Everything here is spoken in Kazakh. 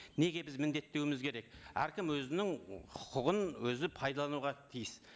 неге біз міндеттеуіміз керек әркім өзінің құқығын өзі пайдалануға тиіс